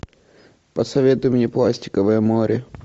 посоветуй мне пластиковое море